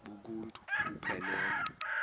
bonk uuntu buphelele